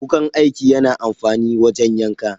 Wukan aiki yana amfani wajen yanka.